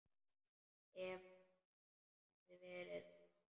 Ef hann hefði verið þannig.